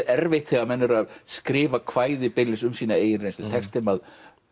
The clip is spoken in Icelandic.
erfitt þegar menn eru að skrifa kvæði beinlínis um sína eigin reynslu tekst þeim að